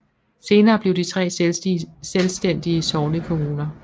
Senere blev de tre selvstændige sognekommuner